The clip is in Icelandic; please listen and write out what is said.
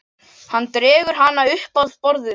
Hann dregur hana upp að borðinu.